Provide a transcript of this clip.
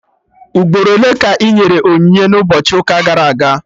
Ugboro ole ka enyere onyinye n'ụbọchị ụka gara aga?